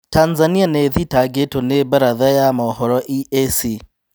Tanzania nĩthitangĩtwo nĩ mbaratha ya mohoro EAC